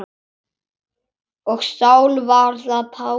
Og Sál varð að Páli.